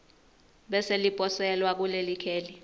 bese liposelwa kulelikheli